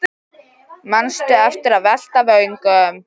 Manstu eftir að velta vöngum?